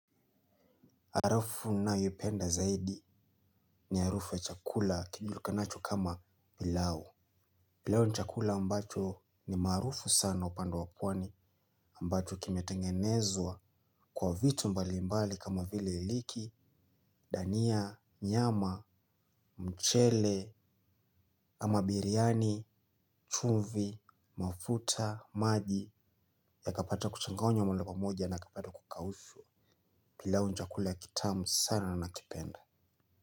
Harufu ninayoipenda zaidi ni harufu ya chakula kijulikanacho kama pilau. Pilau ni chakula ambacho ni maarufu sana upande wa pwani ambacho kimetengenezwa kwa vitu mbalimbali kama vile liki, dania, nyama, mchele, ama biryani, chumvi, mafuta, maji yakapata kuchanganywa mahali pamoja na yakapata kukaushwa. Pilau ni chakula kitamu sana na nakipenda.